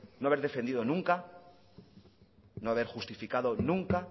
no haber defendido nunca no haber justificado nunca